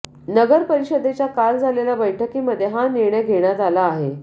नगर परिषदेच्या काल झालेल्या बैठकीमध्ये हा निर्णय घेण्यात आला आहे